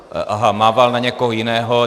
Aha, mával na někoho jiného.